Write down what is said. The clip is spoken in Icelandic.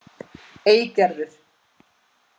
Eygerður